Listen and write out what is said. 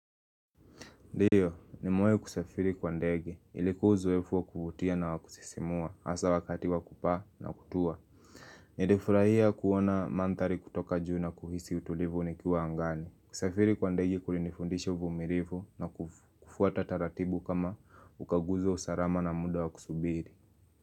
Ndio, nimewahi kusafiri kwa ndege. Ilikua uzoefu wa kuvutia na wakusisimua, hasa wakati wakupaa na kutua. Nilifurahia kuona manthari kutoka juu na kuhisi utulivu nikiwa angani. Kusafiri kwa ndegi kulinifundisha uvumilifu na kufuata taratibu kama ukaguzi wa usalama na muda wa kusubiri.